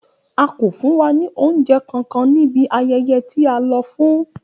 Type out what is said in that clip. A ko fun wa ni ounjẹ kankan ni ibi ayẹyẹ ti a lọ fun.